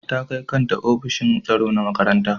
Ta kai kanta ofishin tsaro na makaranta.